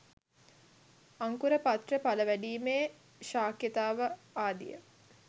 අංකුර, පත්‍ර, ඵල වැඩීමේ ශක්‍යතාව ආදිය